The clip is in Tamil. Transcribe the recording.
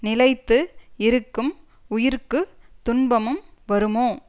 நிலைத்து இருக்கும் உயிர்க்கு துன்பமும் வருமோ